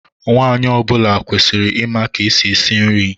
Nwaanyị ọ bụla kwesịrị ịma ka esi esi nri.